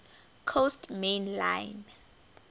coast main line